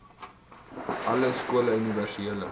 alle skole universele